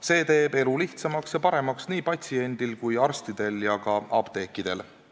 See teeb elu lihtsamaks ja paremaks nii patsientidel kui ka arstidel ja apteekritel.